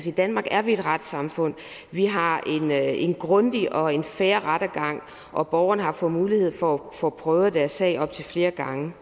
i danmark er vi et retssamfund vi har en grundig og en fair rettergang og borgerne har fået mulighed for at få prøvet deres sag op til flere gange